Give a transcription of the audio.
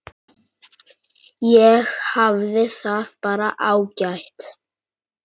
Ég hafði það bara ágætt.